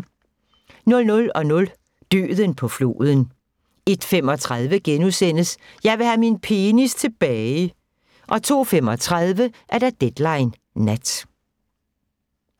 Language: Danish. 00:00: Døden på floden 01:35: Jeg vil have min penis tilbage * 02:35: Deadline Nat